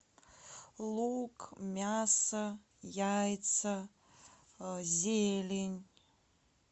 лук мясо яйца зелень